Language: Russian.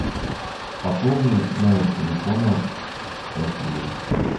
пополни номер телефона василия